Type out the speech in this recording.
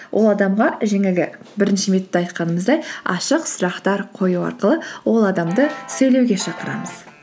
ол адамға жаңағы бірінші методта айтқанымыздай ашық сұрақтар қою арқылы ол адамды сөйлеуге шақырамыз